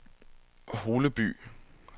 Holeby